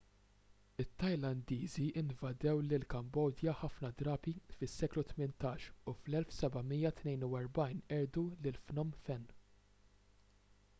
it-tajlandiżi invadew lill-kambodja ħafna drabi fis-seklu 18 u fl-1772 qerdu lil phnom phen